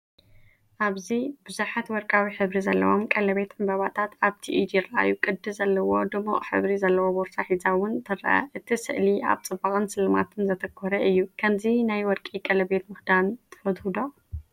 ኣብዚ ብዙሓት ወርቃዊ ሕብሪ ዘለዎም ቀለቤት ዕምባባታት ኣብቲ ኢድ ይረኣዩ። ቅዲ ዘለዎ ድሙቕ ሕብሪ ዘለዎ ቦርሳ ሒዛ እውን ትርአ። እቲ ስእሊ ኣብ ጽባቐን ስልማትን ዘተኮረ እዩ። ከምዚ ናይ ወርቂ ቀለቤት ምኽዳን ትፈቱ ዶ?